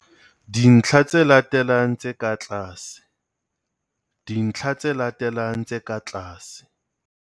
Dintlha tse latelang tse ka tlase, dintlha tse latelang tse ka tlase.